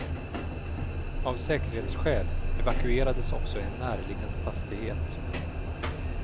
Av säkerhetsskäl evakuerades också en närliggande fastighet.